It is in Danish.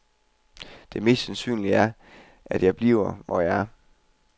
Det mest sandsynlige er, at jeg bliver, hvor jeg er.